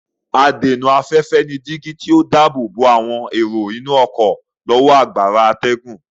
Adènà-afẹ́fẹ́ ni dígí tí ó dáàbò bo àwọn èrò inú ọ̀kọ́ lọ́wọ́ agbára atẹ́gùn.